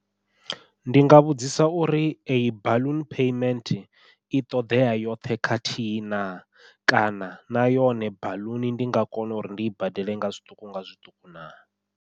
Ndi nga vhudzisa uri eyi baḽuni payment i ṱoḓea yoṱhe khathihi na, kana na yone baḽuni ndi nga kona uri ndi i badele nga zwiṱuku nga zwiṱuku na.